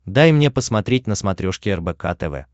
дай мне посмотреть на смотрешке рбк тв